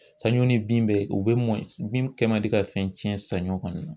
Sanɲɔ ni bin bɛ u be mɔn bin kɛ mandi ka fɛn cɛn saɲɔ kɔni na